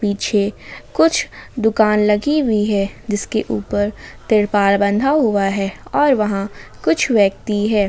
पीछे कुछ दुकान लगी हुई है जिसके ऊपर तिरपाल बंधा हुआ है और वहां कुछ व्यक्ति है।